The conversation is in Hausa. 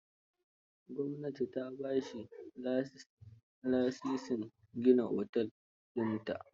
Gwamnati ta ba shi lasisin gina otel dinta.